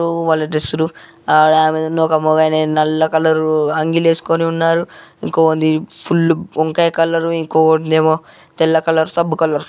వాళ్ళు వల్ల డ్రెస్ లు ఆడమేది ఒక మగ ఆయనది నల్ల కలరు అంగీలు ఏసుకొని ఉన్నారు. ఇంకోకనిది ఫుల్ వంకాయ కలరు ఇంకోకనిదేమో తెల్ల కలరు సబ్బు కలరు .